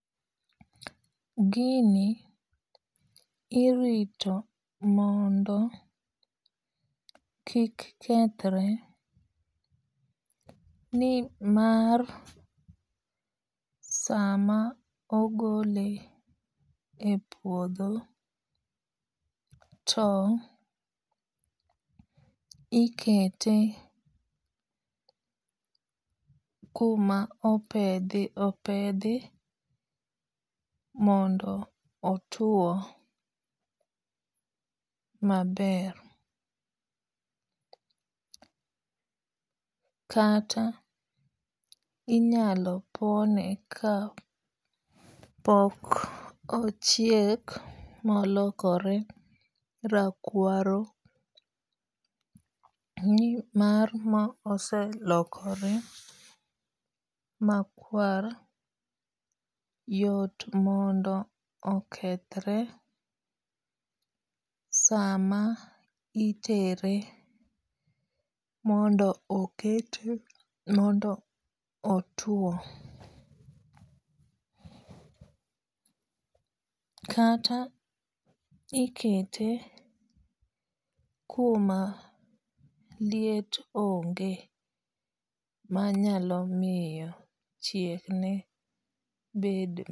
Gini irito mondo kik kethre. Nimar sama ogole e puodho to ikete kuma opedhi opedhi mondo otuo maber. Kata inyalo pone ka pok ochiek molokore rakwaru nimar ma oselokore makwar yot mondo okethre sama itere mondo okete mondo otuo. Kata ikete kuma liet onge manyalo miyo chiek ne bed.